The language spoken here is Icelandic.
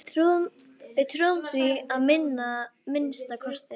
Við trúðum því að minnsta kosti.